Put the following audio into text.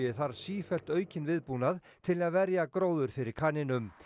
þarf sífellt aukinn viðbúnað til að verja gróður fyrir kanínum